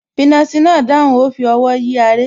finasi náà dáhùn, ó fi ọwọ́ yí aré